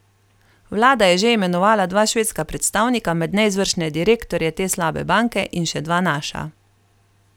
Vlada je že imenovala dva švedska predstavnika med neizvršne direktorje te slabe banke in še dva naša.